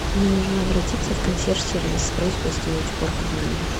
мне нужно обратиться в консьерж сервис с просьбой сделать уборку в номере